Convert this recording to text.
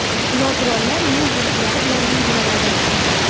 Nogironlar” yo‘l belgilari bilan belgilanadi.